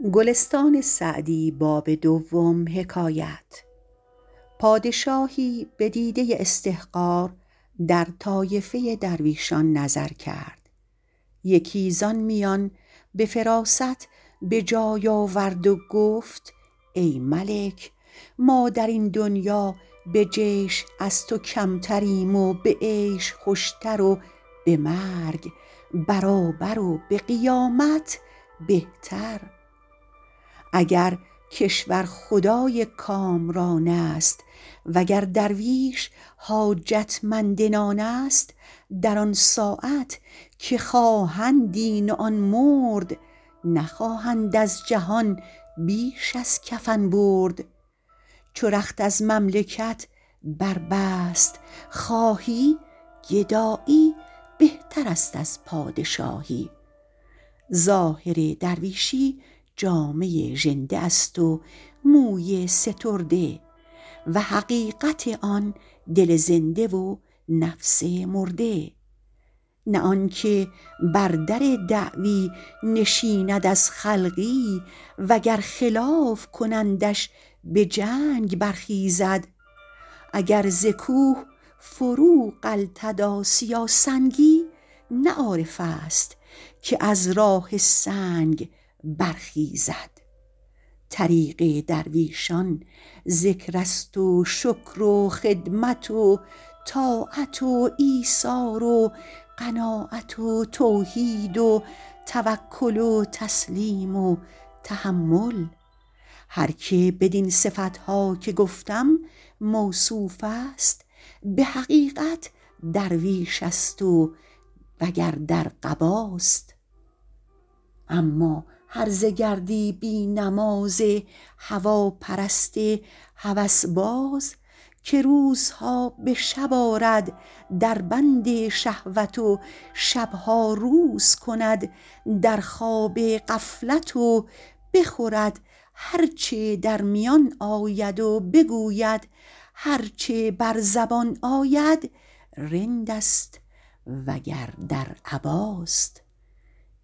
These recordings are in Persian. پادشاهی به دیده استحقار در طایفه درویشان نظر کرد یکی زآن میان به فراست به جای آورد و گفت ای ملک ما در این دنیا به جیش از تو کمتریم و به عیش خوشتر و به مرگ برابر و به قیامت بهتر اگر کشورخدای کامران است وگر درویش حاجت مند نان است در آن ساعت که خواهند این و آن مرد نخواهند از جهان بیش از کفن برد چو رخت از مملکت بربست خواهی گدایی بهتر است از پادشاهی ظاهر درویشی جامه ژنده است و موی سترده و حقیقت آن دل زنده و نفس مرده نه آنکه بر در دعوی نشیند از خلقی وگر خلاف کنندش به جنگ برخیزد اگر ز کوه فرو غلتد آسیا سنگی نه عارف است که از راه سنگ برخیزد طریق درویشان ذکر است و شکر و خدمت و طاعت و ایثار و قناعت و توحید و توکل و تسلیم و تحمل هر که بدین صفت ها که گفتم موصوف است به حقیقت درویش است وگر در قباست اما هرزه گردی بی نماز هواپرست هوس باز که روزها به شب آرد در بند شهوت و شب ها روز کند در خواب غفلت و بخورد هر چه در میان آید و بگوید هر چه بر زبان آید رند است وگر در عباست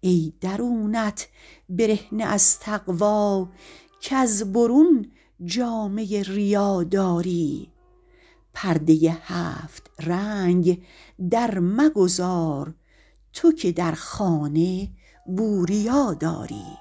ای درونت برهنه از تقوی کز برون جامه ریا داری پرده هفت رنگ در مگذار تو که در خانه بوریا داری